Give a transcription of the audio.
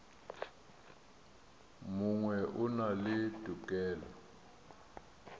mongwe o na le tokelo